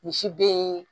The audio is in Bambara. Misi be ye